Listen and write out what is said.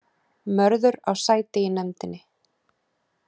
Mörður á sæti í nefndinni